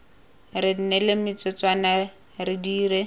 re neele metsotswana re dire